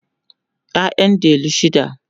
ƴaƴan delu shida